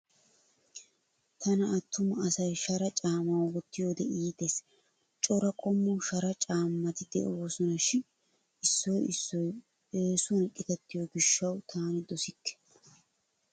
Tana attuma asay shara caammaa wottiyoode iittes. Cora qommo shara caammati de'oosona shin issoy issoy eesuwan qitattiyoo gishshawu tani dosikke.